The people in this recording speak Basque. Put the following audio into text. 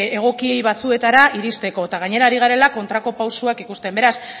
egoki batzuetara iristeko eta gainera ari garela kontrako pausuak ikusten beraz